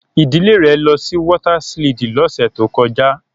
Idile re lọ si wọta siliidi lọse to kọja